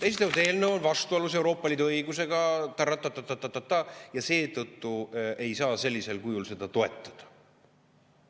Esitatud eelnõu on vastuolus Euroopa Liidu õigusega, rattatatatatataa, ja seetõttu ei saa sellisel kujul seda toetada.